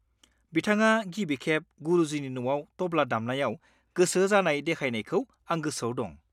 - बिथाङा गिबि खेब गुरुजिनि न'आव टब्ला दामनायाव गोसो जानाय देखायनायखौ आं गोसोआव दं।